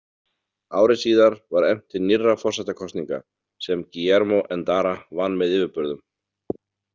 Ári síðar var efnt til nýrra forsetakosninga, sem Guillermo Endara vann með yfirburðum.